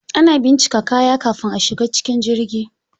Ana bincika kaya kafin a shiga cikin jirgi.